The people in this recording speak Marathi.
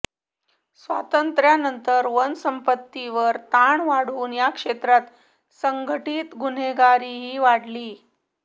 स्वातंत्र्यानंतर वन संपत्तीवर ताण वाढून या क्षेत्रात संघटित गुन्हेगारीही वाढली